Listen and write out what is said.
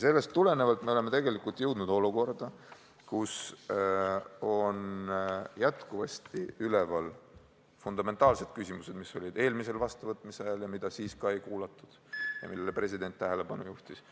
Sellest tulenevalt oleme me jõudnud olukorda, kus on endiselt üleval fundamentaalsed küsimused, mis olid üleval ka eelmise vastuvõtmise ajal ja mida siis ei kuulatud ja millele president tähelepanu juhtis.